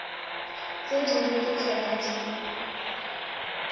tse dingwe ke tsona di